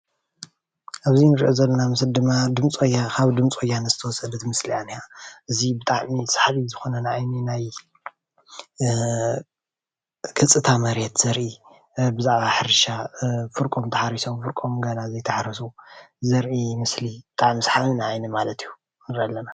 እዚ እንሪኦ ዘለና ምስሊ ድማ ድምፂ ወያነ ካብ ድምፂ ወያነ ዝተወሰደት ምስሊ እያ ዝኒሃ፡፡ እዚ ብጣዕሚ ሳሓቢ ዝኮነ ንዓይኒ ናይ ገፅታ መሬት ዘርኢ ብዛዕባ ሕርሻ ፍርቆም ተሓሪሶም ፍርቆም ገና ዘይተሓረሱ ዘርኢ ምስሊ ብጣዕሚ ሳሓቢ ንዓይኒ ማለት እዩ ንሪኢ አለና፡፡